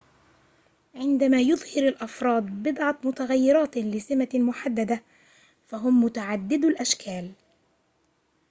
عندما يُظهر الأفراد بضعة متغيرات لسمة محددة فهُم متعددو الأشكال